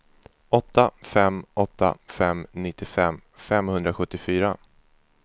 åtta fem åtta fem nittiofem femhundrasjuttiofyra